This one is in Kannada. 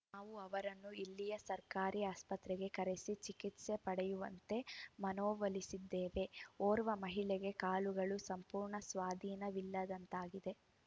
ನಾವು ಅವರನ್ನು ಇಲ್ಲಿಯ ಸರ್ಕಾರಿ ಆಸ್ಪತ್ರೆಗೆ ಕರೆಸಿ ಚಿಕಿತ್ಸೆ ಪಡೆಯುವಂತೆ ಮನವೊಲಿಸಿದ್ದೇವೆ ಓರ್ವ ಮಹಿಳೆಗೆ ಕಾಲುಗಳು ಸಂಪೂರ್ಣ ಸ್ವಾಧೀನವಿಲ್ಲದಂತಾಗಿದೆ